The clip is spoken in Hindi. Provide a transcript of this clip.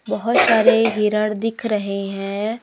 बहोत सारे हिरण दिख रहे हैं।